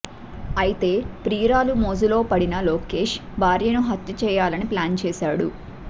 అయితే ప్రియురాలి మోజులో పడిన లోకేష్ భార్యను హత్య చేయాలని ప్లాన్ చేశాడు